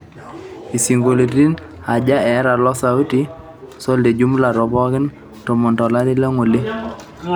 isionkoliotin aaja eeta loo sauti sol te jumla too pooki tomon tolari le ng+'ole